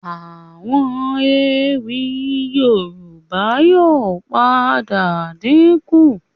Àwọn ewì Yorùbá yóò padà dínkù